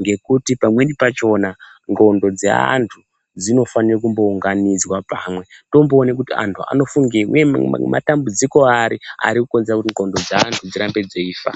Ngekuti pamweni pachona, ngqondo dzeanthu dzinofane kumbounganidzwa pamwe, tomboona kuti anthu anofungeyi, uye matambudziko ari arikukonzere kuti ngqondo dzeanthu dzirambe dzeifa.